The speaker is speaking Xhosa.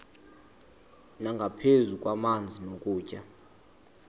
nangaphezu kwamanzi nokutya